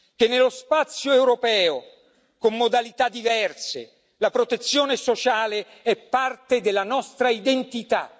che nello Spazio europeo, con modalità diverse, la protezione sociale è parte della nostra identità.